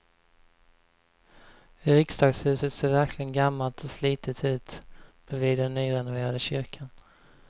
Riksdagshuset ser verkligen gammalt och slitet ut bredvid den nyrenoverade kyrkan.